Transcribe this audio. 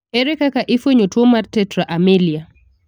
Ere kaka ifuenyo tuo mar tetra amelia?